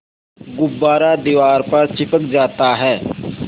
गुब्बारा दीवार पर चिपक जाता है